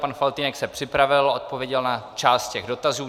Pan Faltýnek se připravil, odpověděl na část těch dotazů.